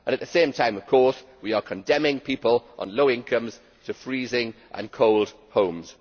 At the same time, of course, we are condemning people on low incomes to freezing cold homes.